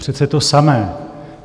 Přece to samé.